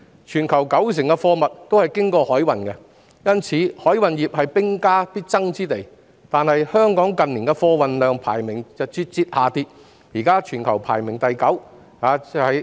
全球九成的貨物均是經海路運輸，因此，海運業是兵家必爭之地，但香港近年的貨運量排名節節下跌，現時全球排名第九位。